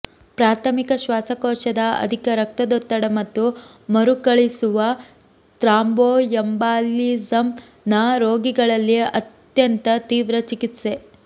ಪ್ರಾಥಮಿಕ ಶ್ವಾಸಕೋಶದ ಅಧಿಕ ರಕ್ತದೊತ್ತಡ ಮತ್ತು ಮರುಕಳಿಸುವ ಥ್ರಾಂಬೋಯೆಂಬಾಲಿಸಮ್ ನ ರೋಗಿಗಳಲ್ಲಿ ಅತ್ಯಂತ ತೀವ್ರ ಚಿಕಿತ್ಸೆ